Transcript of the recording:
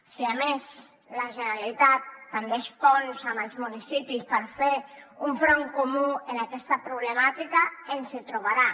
si a més la generalitat tendeix ponts amb els municipis per fer un front comú en aquesta problemàtica ens hi trobarà